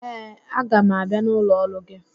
Ee, aga m abịa n'ụlọ ọrụ gị